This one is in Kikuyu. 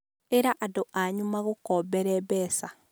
ĩra andũ anyu magũkombere mbeca